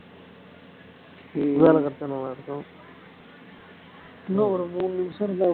வேலை கிடைச்சா நல்லா இருக்கும் இன்னும் ஒரு மூணு நிமிஷம் இருந்தா okay